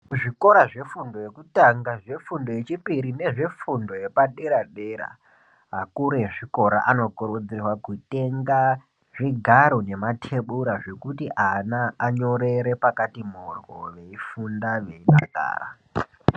Zvikora zvefundo yekutanga zvefundo yechipiri, nezvefundo yepadera dera ,akuru vezvikora anokurudzirwa kutenga zvigaro zvematebhura zvekuti ana anyorere pakati mhororwe eyifunda.